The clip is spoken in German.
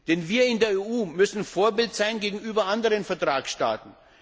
Denn wir in der EU müssen Vorbild sein gegenüber anderen Vertragsstaaten.